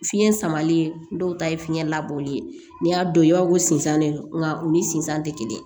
Fiɲɛ samalen dɔw ta ye fiɲɛ labɔli ye n'i y'a don i b'a fɔ ko sensan de don nka u ni sinzan tɛ kelen